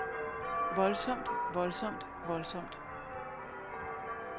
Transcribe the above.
voldsomt voldsomt voldsomt